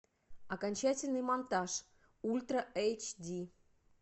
окончательный монтаж ультра эйч ди